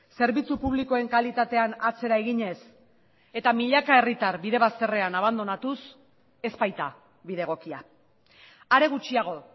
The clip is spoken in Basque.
zerbitzu publikoen kalitatean atzera eginez eta milaka herritar bide bazterrean abandonatuz ez baita bide egokia are gutxiago